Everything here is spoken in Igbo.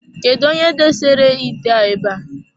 Kedụ onye dosere ite a abe a.